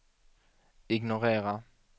ignorera